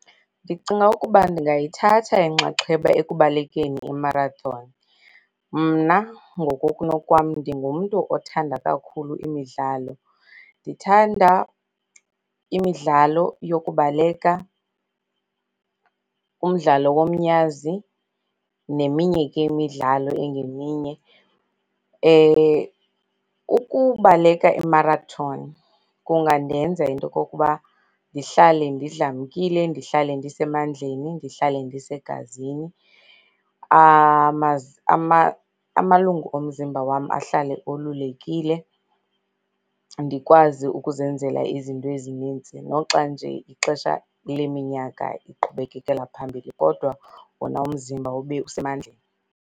Ndicinga ukuba ndingayithatha inxaxheba ekubalekeni i-marathon. Mna ngokokunokwam ndingumntu othanda kakhulu imidlalo. Ndithanda imidlalo yokubaleka, umdlalo yomnyazi neminye ke imidlalo engeminye. Ukubaleka imarathoni, kungandenza into yokokuba ndihlale ndidlamkile, ndihlale ndisemandleni, ndihlale ndisegazini, amalungu omzimba wam ahlale olulekile. Ndikwazi ukuzenzela izinto ezininzi noxa nje ixesha leminyaka liqhubekekela phambili kodwa wona umzimba ube usemandleni.